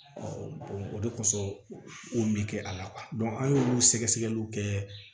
o de kosɔn o mɛ kɛ a la an y'olu sɛgɛ sɛgɛliw kɛ